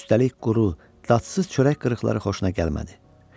Üstəlik quru, dadsız çörək qırıqları xoşuna gəlmədi.